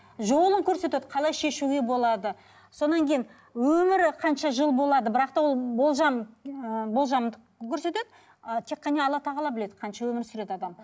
жолын көрсетеді қалай шешуге болады содан кейін өмірі қанша жыл болады бірақ та ол болжам ы болжамдап көрсетеді ы тек қана алла тағала біледі қанша өмір сүреді адам